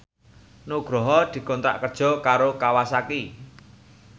Nugroho dikontrak kerja karo Kawasaki